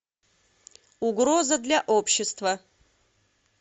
угроза для общества